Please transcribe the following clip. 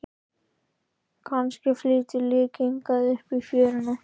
Kannski flýtur lík hingað upp í fjöruna.